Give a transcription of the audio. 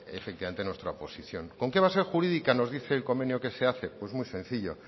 efectivamente nuestra oposición con qué base jurídica nos dice el convenio que se hace pues muy sencillo